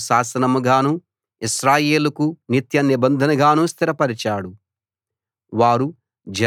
ఆ మాట యాకోబుకు శాసనంగాను ఇశ్రాయేలుకు నిత్య నిబంధనగాను స్థిరపరచాడు